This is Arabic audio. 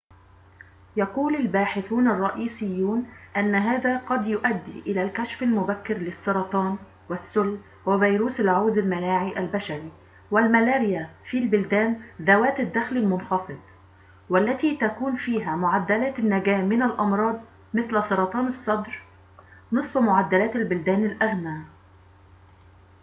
يقول الباحثون الرئيسيون أن هذا قد يؤدي إلى الكشف المبكر للسرطان والسل وفيروس العوز المناعي البشري والملاريا في البلدان ذوات الدخل المنخفض والتي تكون فيها معدلات النجاة من الأمراض مثل سرطان الصدر نصف معدلات البلدان الأغنى